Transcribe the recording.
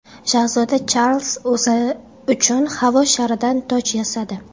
Shahzoda Charlz o‘zi uchun havo sharidan toj yasadi.